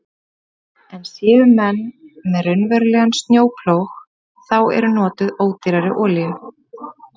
En séu menn með raunverulegan snjóplóg þá er notuð ódýrari olía.